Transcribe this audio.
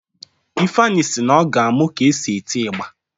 Ifeanyi si na ọ ga-amụ ka esi eti igba